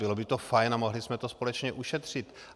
Bylo by to fajn a mohli jsme to společně ušetřit.